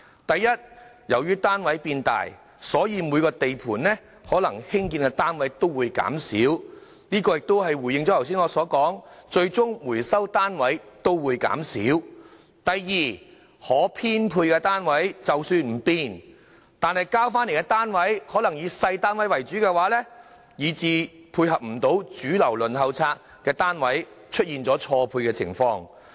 第一，由於單位變大，所以每個地盤可以興建的單位會減少，正如我剛才所說，最終回收的單位亦會減少；第二，可編配的單位即使不變，但回收單位可能也會以細單位為主，以致無法配合主流輪候冊家庭的需要，出現單位錯配。